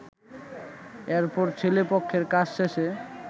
এরপর ছেলে পক্ষের কাজ শেষে